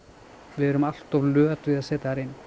við erum allt of löt við að setja þær inn